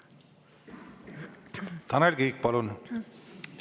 Tanel Kiik, palun!